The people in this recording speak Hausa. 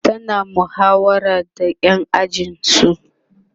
tana muhawara da ƴan ajinsu